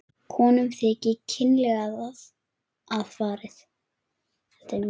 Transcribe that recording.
Konum þykir kynlega að farið.